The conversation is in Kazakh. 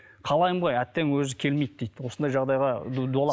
қалаймын ғой әттең өзі келмейді дейді осындай жағдайға дуалап